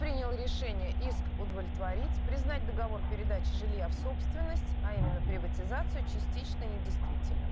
принял решение иск удовлетворить признать договор передачи жилья в собственность а именно приватизацию частично недействительным